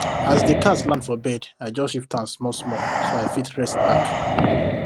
as the cat land for bed i just shift am smallsmall so i fit rest back